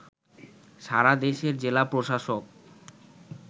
সারা দেশের জেলা প্রশাসক